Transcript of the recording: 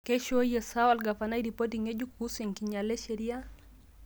keishoyie saa olgavana ripoti ngejuk kuhusu enkinyala e sheria